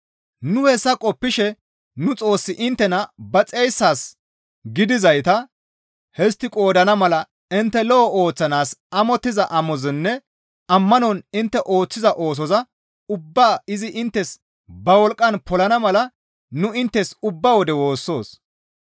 Nu hessa qoppishe nu Xoossi inttena ba xeyssaas gidizayta histti qoodana mala intte lo7o ooththanaas amottiza amozanne ammanon intte ooththida oosoza ubbaa izi inttes ba wolqqan polana mala nu inttes ubba wode woossoos.